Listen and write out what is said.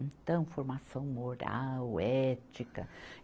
Então, formação moral, ética.